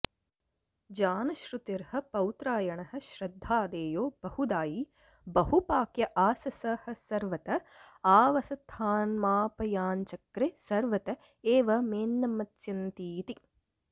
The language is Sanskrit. जानश्रुतिर्ह पौत्रायणः श्रद्धादेयो बहुदायी बहुपाक्य आस स ह सर्वत आवसथान्मापयांचक्रे सर्वत एव मेऽन्नमत्स्यन्तीति